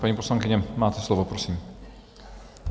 Paní poslankyně, máte slovo, prosím.